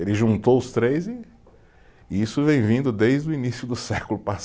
Ele juntou os três e, e isso vem vindo desde o início do século